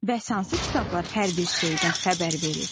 Bəs hansı kitablar hər bir şeydən xəbər verir?